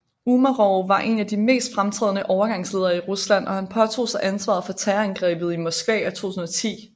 Umarov var en af de mest fremtrædende overgangsledere i Rusland og han påtog sig ansvaret for Terrorangrebet i Moskva 2010